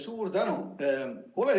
Suur tänu!